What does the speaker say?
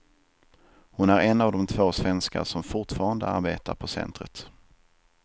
Hon är en av de två svenskar som fortfarande arbetar på centret.